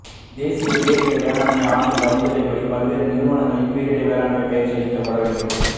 தேசிய பேரிடர் மேலாண்மை ஆணைய பரிந்துரைப்படி பல்வேறு நிறுவனங்களில் பேரிடர் மேலாண்மை பயிற்சி அளிக்கப்பட வேண்டும்